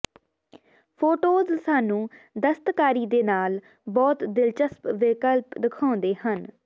photos ਸਾਨੂੰ ਦਸਤਕਾਰੀ ਦੇ ਨਾਲ ਬਹੁਤ ਦਿਲਚਸਪ ਵਿਕਲਪ ਦਿਖਾਉਂਦੇ ਹਨ